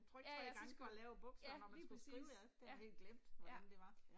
Ja ja, så skulle, ja lige præcis, ja, ja